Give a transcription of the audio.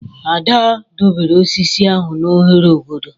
Ada doberr osisi ahụ n'ohere obodo.